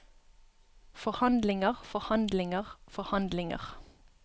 forhandlinger forhandlinger forhandlinger